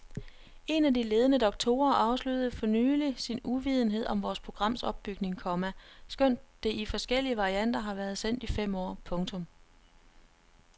Én af de ledende doktorer afslørede for nylig sin uvidenhed om vores programs opbygning, komma skønt det i forskellige varianter har været sendt i fem år. punktum